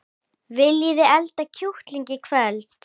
Viljiði elda kjúkling í kvöld?